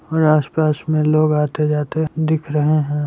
और आस पास में लोग आते जाते दिख रहे हैं।